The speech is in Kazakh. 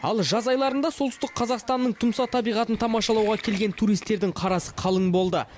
ал жаз айларында солтүстік қазақстанның тұмса табиғатын тамашалауға келген туристердің қарасы қалың болды